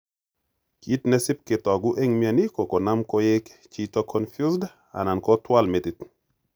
Kit ne sip kotagu en mioni ko konam koig chito confused alan kotwal metit.